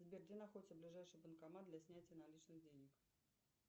сбер где находится ближайший банкомат для снятия наличных денег